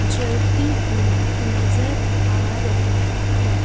जलती हुई नजर आ रही है।